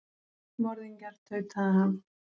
Morðingjar, tautaði hann.